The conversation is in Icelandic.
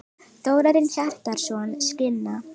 Þórarinn Hjartarson, Skinna.